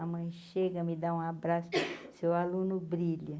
A mãe chega, me dá um abraço, seu aluno brilha.